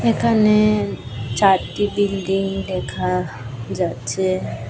এখানে চারটি বিল্ডিং দেখা যাচ্ছে।